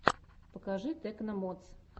покажи тэкно модс